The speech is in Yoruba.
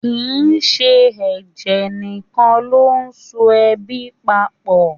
Kì í ṣe ẹ̀jẹ̀ nìkan ló so ẹbí papọ̀